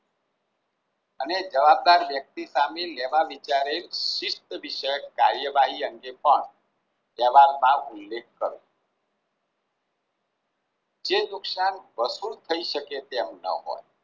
અને જવાબદાર વ્યક્તિ સામે લેવા વિચારે શિસ્ત વિશે કાર્યવાહી અંગે પણ જવાબ માં ઉલ્લેખ કરવો. જે નુકશાન વસુલ થઈ શકે તેમ ન હોય